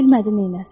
Bilmədi neynəsin.